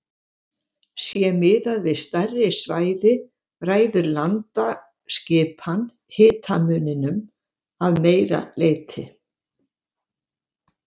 Sé miðað við stærri svæði ræður landaskipan hitamuninum að meira leyti.